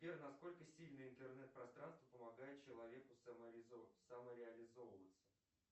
сбер на сколько сильно интернет пространство помогает человеку самореализовываться